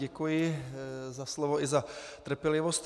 Děkuji za slovo i za trpělivost.